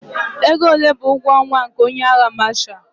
Ego ole bụ ụgwọ ọnwa nke onye agha Mashalụ?